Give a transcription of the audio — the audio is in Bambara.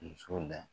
Muso da